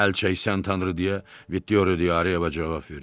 Əl çəksən Tanrı deyə Vittoria Dioreyə cavab verdi.